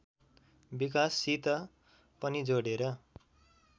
विकाससित पनि जोडेर